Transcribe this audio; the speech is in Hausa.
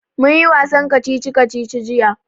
Mun yi wasan kacici-kacici jiya